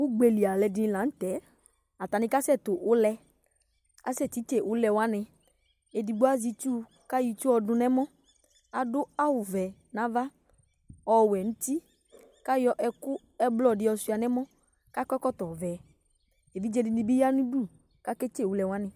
Ugbe li alʋɛdɩnɩ la nʋ tɛ Atanɩ kasɛtʋ ʋlɛ Asɛtitse ʋlɛ wanɩ Edigbo azɛ itsu kʋ ayɔ itsu yɛ dʋ nʋ ɛmɔ Adʋ awʋvɛ kʋ ava, ɔwɛ nʋ uti kʋ ayɔ ɛkʋ ɛblɔ dɩ yɔsʋɩa nʋ ɛmɔ kʋ akɔ ɛkɔtɔvɛ Evidze dɩnɩ bɩ ya nʋ udu kʋ aketse ʋlɛ wanɩ